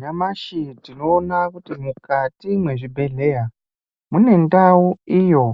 Nyamashi tinoona kuti mukati mezvibhedhleya mune ndau iyo